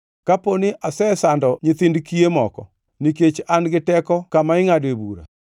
Kapo ni asesando nyithind kiye moko, nikech an gi teko kama ingʼadoe bura,